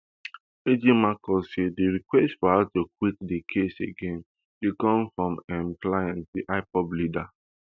ejimakor say di request for her to quit di case again dey come from im client di ipob leader